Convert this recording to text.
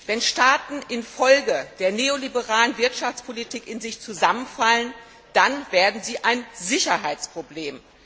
Wenn Staaten infolge der neoliberalen Wirtschaftspolitik in sich zusammenfallen, dann werden sie ein Sicherheitsproblem.